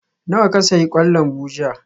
Nawa ka sayi kwan lambu jiya?